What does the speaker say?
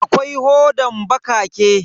Akwai hodan bakake.